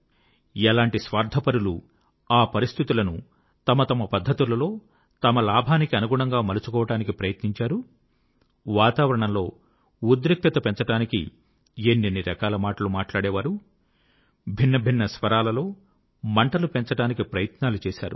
ఎలాంటి స్వార్ధపరులు ఆ పరిస్థితులను తమ తమ పద్ధతులలో తమ లాభానికనుగుణంగా మలచుకోడానికి ప్రయత్నించారు వాతావరణంలో ఉద్రిక్తత పెంచడానికి ఎన్నెన్ని రకాల మాటలు మాట్లాడేవారు భిన్న భిన్న స్వరాలలో మంటలు పెంచడానికి ప్రయత్నాలు చేశారు